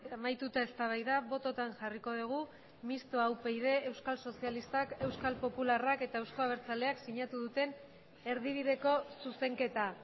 amaituta eztabaida bototan jarriko dugu mistoa upyd euskal sozialistak euskal popularrak eta euzko abertzaleak sinatu duten erdibideko zuzenketa